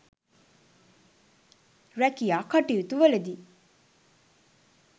රැකියා කටයුතුවලදී